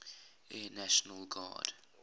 air national guard